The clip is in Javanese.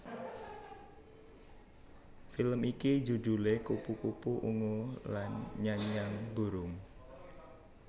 Film iki judhulé Kupu kupu Ungu lan Nyanyian Burung